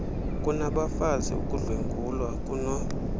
kunabafazi ukudlwengulwa kuno